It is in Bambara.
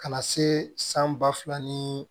Ka na se san ba fila ni